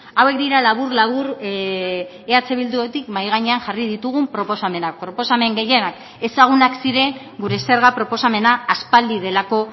hauek dira labur labur eh bildutik mahai gainean jarri ditugun proposamenak proposamen gehienak ezagunak ziren gure zerga proposamena aspaldi delako